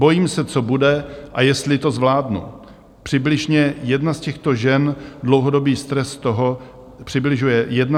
Bojím se, co bude a jestli to zvládnu," přibližuje jedna z těchto žen dlouhodobý stres z toho, jak má vlastně uživit rodinu.